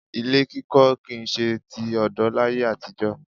Ilé kíkọ kì í ṣe ti ọ̀dọ́ láyé àtijọ́